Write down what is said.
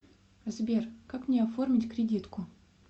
сбер как мне оформить кредитку